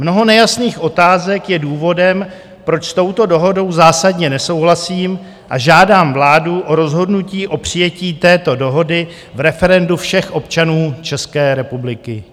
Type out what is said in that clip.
Mnoho nejasných otázek je důvodem, proč s touto dohodou zásadně nesouhlasím a žádám vládu o rozhodnutí o přijetí této dohody v referendu všech občanů České republiky.